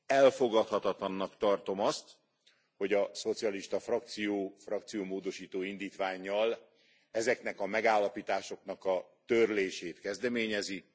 Elfogadhatatlannak tartom azt, hogy a szocialista frakció frakciómódosító indítvánnyal ezeknek a megállapításoknak a törlését kezdeményezi.